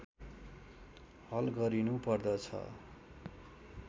हल गरिनुपर्दछ